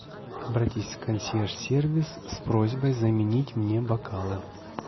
обратись в консьерж сервис с просьбой заменить мне бокалы